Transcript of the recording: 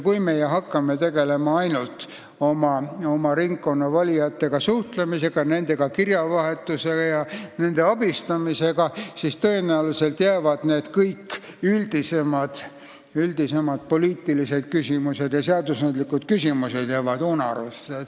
Kui me aga hakkame tegelema ainult sellega, et suhtleme oma ringkonna valijatega, peame nendega kirjavahetust ja abistame neid, siis tõenäoliselt jäävad kõik üldisemad poliitilised ja seadusandlikud küsimused unarusse.